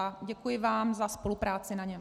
A děkuji vám za spolupráci na něm.